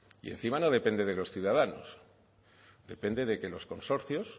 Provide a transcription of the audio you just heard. y encima no depende de los ciudadanos depende de que los consorcios